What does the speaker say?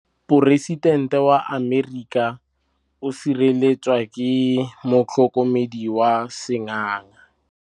Poresitêntê wa Amerika o sireletswa ke motlhokomedi wa sengaga.